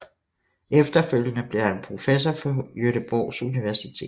Efterfølgende blev han professor på Göteborgs Universitet